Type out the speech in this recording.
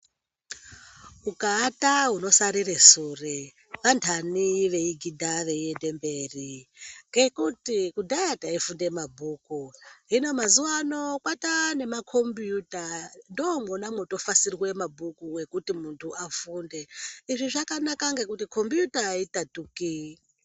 Ukaata unosarira sure kudhaya andanhire mberi taifunda mabhuku hino mazuvano kwane makombiyuta ndomafasirwa mabhuku izvii zvakanaka kuti kombiyuta aitatuki